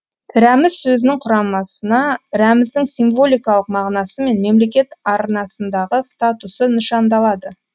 рәміз сөзінің құрамасына рәміздің символикалық мағынасы мен мемлекет арнасындағы статусы нышандалады